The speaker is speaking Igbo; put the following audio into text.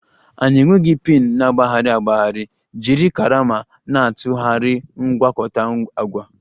Anyị enweghị pin na-agbagharị agbagharị, jiri karama na-atụgharị mgwakota agwa